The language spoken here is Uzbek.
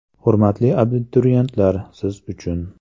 Hurmatli abituriyentlar, siz uchun !!!